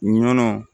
Nɔnɔ